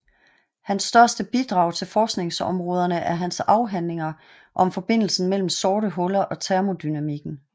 Hans største bidrag til forskningsområderne er hans afhandlinger om forbindelsen mellem sorte huller og termodynamikken